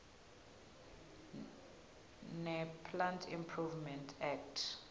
neplant improvement act